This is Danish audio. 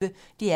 DR P1